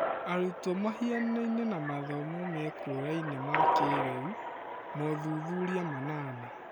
Arutwo mahianaine na mathomo mekũraime ma kĩĩrĩu ( mothuthuria manana)